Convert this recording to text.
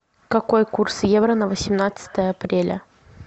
какой курс евро на восемнадцатое апреля